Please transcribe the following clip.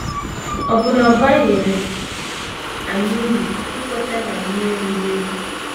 Ọ̀ bụ na ọ baghịrị anyị uru ikweta na anyị erughị eru?